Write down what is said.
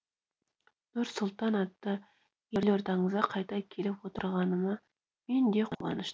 нұр сұлтан атты елордаларыңызға қайта келіп отырғаныма мен де қуаныштымын